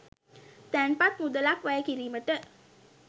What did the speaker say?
තැන්පත් මුදලක් වැය කිරීමට